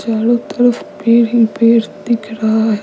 चारों तरफ पेड़ ही पेड़ दिख रहा है।